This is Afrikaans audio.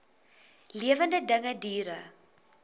lewende dinge diere